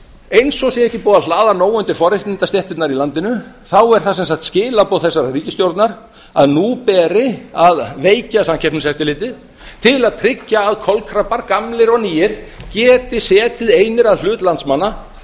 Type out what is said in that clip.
eins og sé ekki búið að hlaða nóg undir forréttindastéttirnar í landinu þá eru það sem sagt skilaboð þessarar ríkisstjórnar að nú beri að veikja samkeppniseftirlitið til að tryggja að kolkrabbar gamlir og nýir geti setið einir að hlut landsmanna